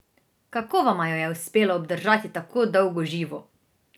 Kako vama jo je uspelo obdržati tako dolgo živo?